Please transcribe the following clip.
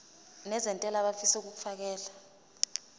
nezentela abafisa uukfakela